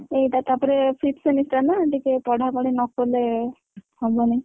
ଏଇଟା ତାପରେ fifth semester ଟା ନାଁ ଟିକେ ପଢାପଢି ନକଲେ, ହବନି।